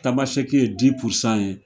Tamasɛki ye di pursan ye.